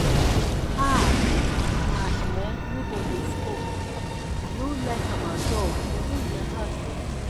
um my um neighbor dey smoke i no like am at all but no be my house um